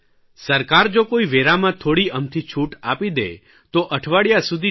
સરકાર જો કોઇ વેરામાં થોડી અમથી છૂટ આપી દે તો અઠવાડિયા સુધી ટી